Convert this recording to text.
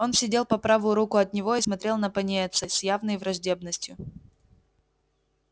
он сидел по правую руку от него и смотрел на пониетса с явной враждебностью